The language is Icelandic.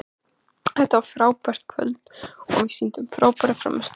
Þetta var frábært kvöld og við sýndum frábæra frammistöðu.